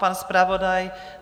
Pan zpravodaj?